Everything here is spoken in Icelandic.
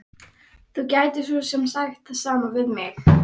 Þú gætir svo sem sagt það sama við mig.